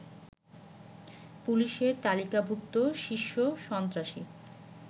পুলিশের তালিকাভুক্ত শীর্ষ সন্ত্রাসী